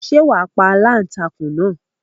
Ṣé wà á pa aláǹtakùn náà?